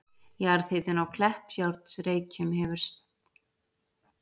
Jarðhitinn á Kleppjárnsreykjum gefur staðnum seinni hluta nafns síns.